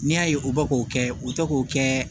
N'i y'a ye u bɛ k'o kɛ u tɛ k'o kɛ